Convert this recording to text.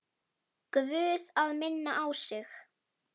Guð að minna á sig.